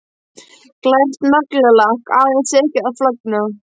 Glært naglalakk, aðeins tekið að flagna.